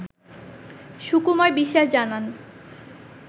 সুকুমার বিশ্বাস জানান